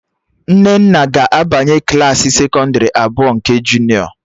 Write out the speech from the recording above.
Nnenna ga-abanye Klassị sekọndrị abụọ nke junịọ